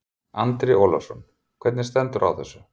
Andri Ólafsson: Hvernig stendur á þessu?